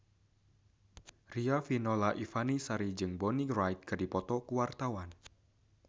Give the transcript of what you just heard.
Riafinola Ifani Sari jeung Bonnie Wright keur dipoto ku wartawan